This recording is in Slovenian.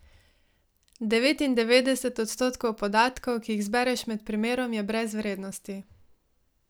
Devetindevetdeset odstotkov podatkov, ki jih zbereš med primerom, je brez vrednosti.